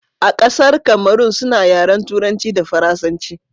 a ƙasar Kamarun suna yaren turanci da faransanci